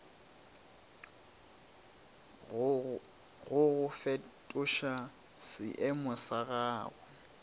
go go fetoša seeemo sa